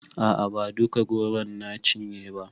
A'a ba duka goron na cinye ba